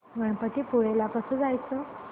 गणपतीपुळे ला कसं जायचं